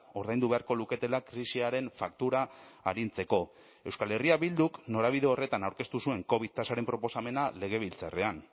ordaindu beharko luketela krisiaren faktura arintzeko euskal herria bilduk norabide horretan aurkeztu zuen covid tasaren proposamena legebiltzarrean